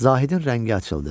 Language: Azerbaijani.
Zahidin rəngi açıldı.